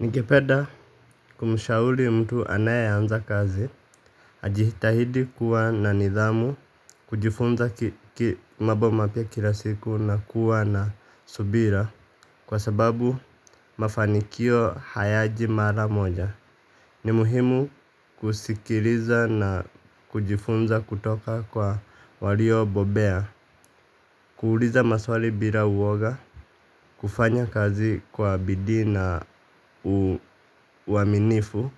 Ningepeda kumshauli mtu anayeanza kazi, ajitahidi kuwa na nidhamu, kujifunza mabo mapya kila siku na kuwa na subira kwa sababu mafanikio hayaji mara moja. Ni muhimu kusikiriza na kujifunza kutoka kwa waliobobea. Kuuliza maswali bila uoga, kufanya kazi kwa bidii na uaminifu